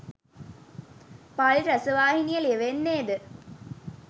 පාලි රසවාහිනිය ලියවෙන්නේද